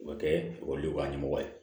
O bɛ kɛ ekɔlidenw ka ɲɛmɔgɔ ye